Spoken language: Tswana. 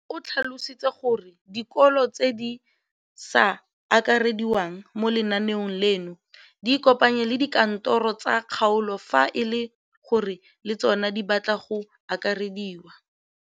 O tlhalositse gore dikolo tse di sa akarediwang mo lenaaneng leno di ikopanye le dikantoro tsa kgaolo fa e le gore le tsona di batla go akarediwa.